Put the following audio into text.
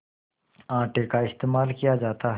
आटे का इस्तेमाल किया जाता है